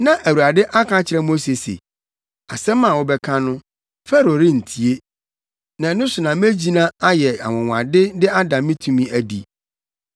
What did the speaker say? Na Awurade aka akyerɛ Mose se, “Asɛm a wobɛka no, Farao rentie. Na ɛno so na megyina ayɛ anwonwade de ada me tumi adi.”